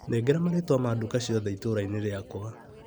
Nengera marĩtwa ma nduka ciothe itũra-inĩ rĩakwa .